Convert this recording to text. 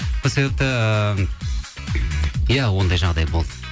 сол себепті иә ондай жағдай болды